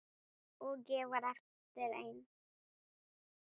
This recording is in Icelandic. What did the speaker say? Og ég varð eftir ein.